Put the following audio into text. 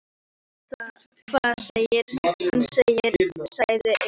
Þú heyrir hvað hann segir, sagði Einar.